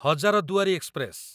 Hazarduari express